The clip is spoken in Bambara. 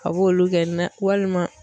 A b'olu kɛ walima